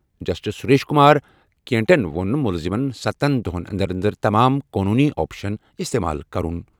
Justice Suresh Kumar کیٹَن ووٚن مُلزِمن سَتن دۄہَن انٛدر انٛدر تمام قونوٗنی آپشن استعمال کرُن۔